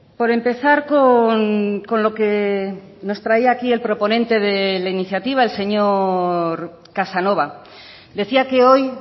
por empezar con lo que nos traía aquí el proponente dela iniciativa el señor casanova decía que hoy